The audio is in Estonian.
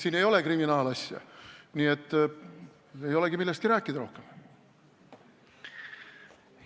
Siin ei ole kriminaalasja, nii et ei olegi millestki rohkem rääkida.